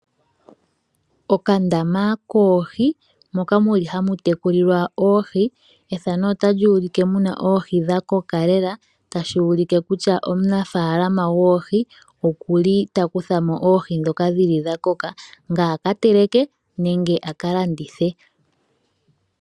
Okandama koohi moka muli hamu tekulilwa oohi. Ethano otali ulike mu na oohi dha koka lela, tashi ulike kutya omunafaalama gwoohi okuli takutha mo oohi ndhoka dhili dha koka nge aka teleke nenge aka landithe.